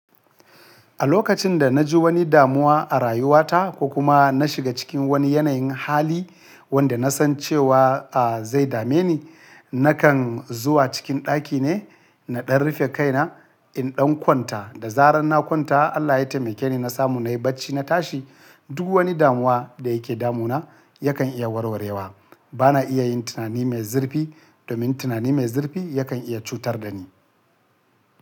A lokacin da na ji wani damuwa a rayuwata ko kuma na shiga cikin wani yanayin hali wanda na san cewa a zai dame ni, nakan zuwa cikin ɗaki ne, na ɗan rufe kaina in ɗan kwanta. Da zarar na kwanta Allah ya taimake ni na samu na yi bacci na tashi, duk wani damuwa da yake damu na yakan iya warwarewa. Ba na iya yin tunani mai zurfi domin tunani mai zurfi yakan iya cutar da ni.